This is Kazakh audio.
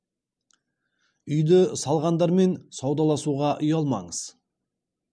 үйді салғандармен саудаласуға ұялмаңыз